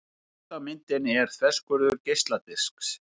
Efst á myndinni er þverskurður geisladisks.